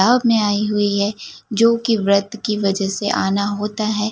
में आई हुई है जो की व्रत की वजह से आना होता है।